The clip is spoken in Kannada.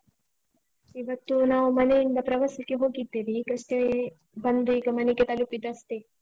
ಇವತ್ತು ನಾವು ಮನೆಯಿಂದ ಪ್ರವಾಸಕ್ಕೆ ಹೋಗಿದ್ದಿವಿ. ಈಗಷ್ಟೇ ಬಂದೀಗ ಮನೆಗೆ ತಲುಪಿದ್ದಷ್ಟೇ.